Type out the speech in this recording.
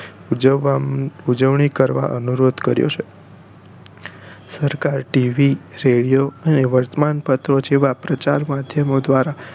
ઉજવણી કરવા અનુરોધ કર્યો છે સરકારે TV radio અને વર્તમાનપત્રો જેવા પ્રચાર માધ્યમો દ્વારા